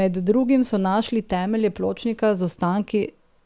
Med drugim so našli temelje pločnika z ostanki